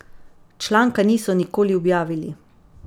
Članka niso nikoli objavili.